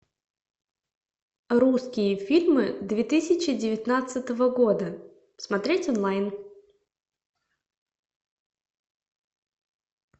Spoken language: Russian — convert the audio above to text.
русские фильмы две тысячи девятнадцатого года смотреть онлайн